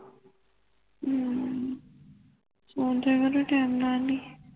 ਹੱਮ ਸੋ ਜਯਾ ਕਰੋ time ਨਾਲ ਵੀ